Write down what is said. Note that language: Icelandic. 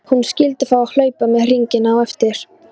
Hann skyldi fá að hlaupa með hringina á eftir.